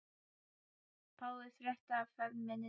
Páfi frétti af ferð minni til